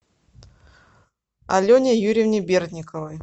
алене юрьевне бердниковой